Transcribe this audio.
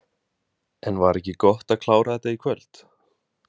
En var ekki gott að klára þetta í kvöld?